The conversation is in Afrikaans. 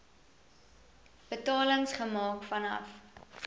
betalings gemaak vanaf